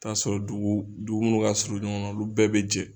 i taa sɔrɔ dugu dugu munnu ka surun ɲɔgɔnna olu bɛɛ bɛ jɛ.